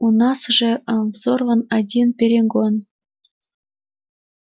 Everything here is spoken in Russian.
у нас уже взорван один перегон